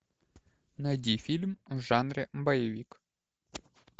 найди фильм в жанре боевик